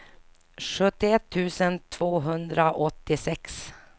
sjuttioett tusen tvåhundraåttiosex